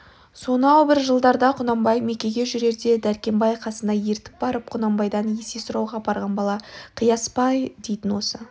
сонау бір жылдарда құнанбай мекеге жүрерде дәркембай қасына ертіп барып құнанбайдан есе сұрауға апарған бала қияспай дейтін осы